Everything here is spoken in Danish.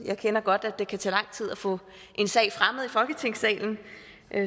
jeg ved godt at det kan tage lang tid at få en sag fremmet i folketingssalen